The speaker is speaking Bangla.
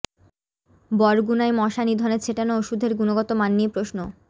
বরগুনায় মশা নিধনে ছেটানো ওষুধের গুণগত মান নিয়ে প্রশ্ন